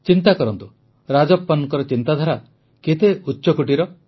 ଚିନ୍ତା କରନ୍ତୁ ରାଜପ୍ପନଙ୍କର ଚିନ୍ତାଧାରା କେତେ ଉଚ୍ଚକୋଟୀର